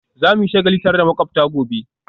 Za mu yi shagali tare da makwabta gobe